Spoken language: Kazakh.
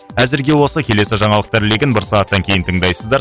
әзірге осы келесі жаңалықтар легін бір сағаттан кейін тыңдайсыздар